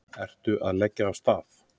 Eru að leggja af stað